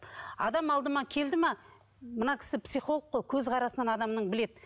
адам алдыма келді ме мына кісі психолог қой көзқарасынан адамның біледі